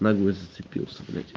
нагло зацепился блять